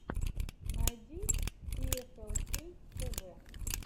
найди пиэфэлкей тэвэ